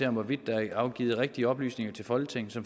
om hvorvidt der er afgivet rigtige oplysninger til folketinget